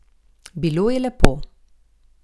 Bilo je lepo.